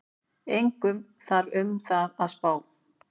Engu þarf um það að spá,